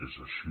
és així